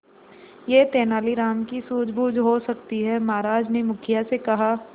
यह तेनालीराम की सूझबूझ हो सकती है महाराज ने मुखिया से कहा